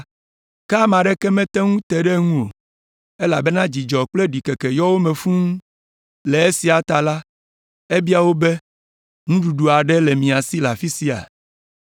Ke ame aɖeke mete ŋu te ɖe eŋu o, elabena dzidzɔ kple ɖikeke yɔ wo me fũu. Le esia ta la, ebia wo be, “Nuɖuɖu aɖe le mia si le afi sia?”